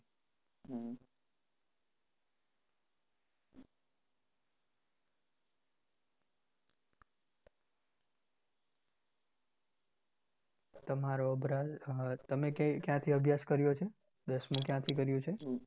તમારો તમે ક્યાં ક્યાંથી અભ્યાસ કર્યો છે? દસમું ક્યાંથી કર્યું છે?